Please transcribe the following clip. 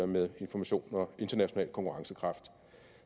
med information og international konkurrencekraft